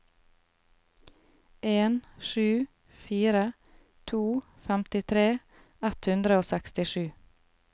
en sju fire to femtitre ett hundre og sekstisju